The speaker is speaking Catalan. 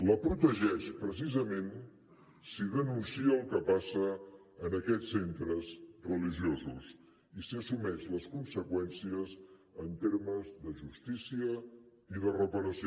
la protegeix precisament si denuncia el que passa en aquests centres religiosos i si n’assumeix les conseqüències en termes de justícia i de reparació